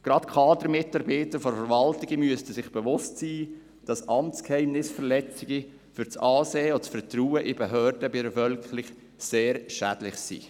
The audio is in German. Gerade Kadermitarbeiter von Verwaltungen müssten sich bewusst sein, dass Amtsgeheimnisverletzungen für das Ansehen und das Vertrauen in Behörden bei der Bevölkerung sehr schädlich sind.